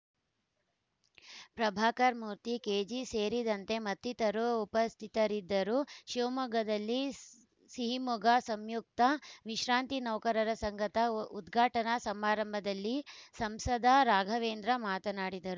Prabhakar Murthy KG ಸೇರಿದಂತೆ ಮತ್ತಿತರರು ಉಪಸ್ಥಿತರಿದ್ದರು ಶಿವಮೊಗ್ಗದಲ್ಲಿ ಸಿಹಿಮೊಗೆ ಸಂಯುಕ್ತ ವಿಶ್ರಾಂತಿ ನೌಕರರ ಸಂಘದ ಉದ್ಘಾಟನಾ ಸಮಾರಂಭದಲ್ಲಿ ಸಂಸದ ರಾಘವೇಂದ್ರ ಮಾತನಾಡಿದರು